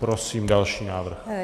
Prosím další návrh.